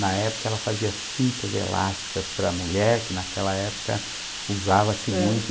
Na época, ela fazia cintas elásticas para a mulher, que naquela época usava-se muito.